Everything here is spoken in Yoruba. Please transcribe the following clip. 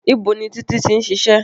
Ibo ni Títí tí ń ṣiṣẹ́?